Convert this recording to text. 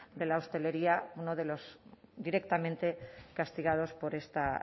de la hostelería uno de los directamente castigados por esta